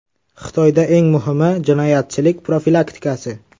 Xitoyda eng muhimi jinoyatchilik profilaktikasi.